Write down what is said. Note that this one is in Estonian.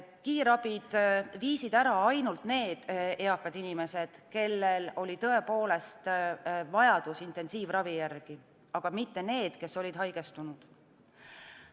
Kiirabi viis ära ainult need eakad inimesed, kellel oli tõepoolest vajadus intensiivravi järele, aga mitte neid, kes olid haigestunud.